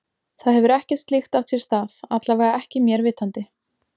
Það hefur ekkert slíkt átt sér stað, alla vega ekki mér vitandi.